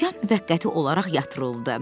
Üsyan müvəqqəti olaraq yatırıldı.